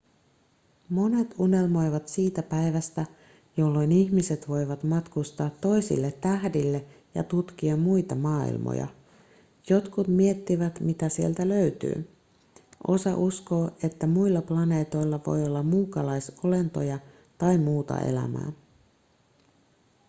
monet unelmoivat siitä päivästä jolloin ihmiset voivat matkustaa toisille tähdille ja tutkia muita maailmoja jotkut miettivät mitä sieltä löytyy osa uskoo että muilla planeetoilla voi olla muukalaisolentoja tai muuta elämää